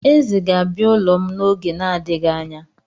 Eze ga-abịa ụlọ m n'oge na-adịghị anya.